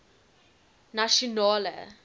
nasionale